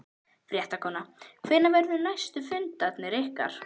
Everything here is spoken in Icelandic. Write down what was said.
Fréttakona: Hvenær verða næstu fundir ykkar?